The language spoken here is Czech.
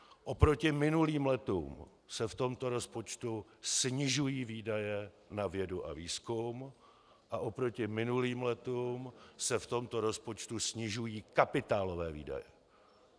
Oproti minulým letům se v tomto rozpočtu snižují výdaje na vědu a výzkum a oproti minulým letům se v tomto rozpočtu snižují kapitálové výdaje.